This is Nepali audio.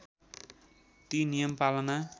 ती नियम पालना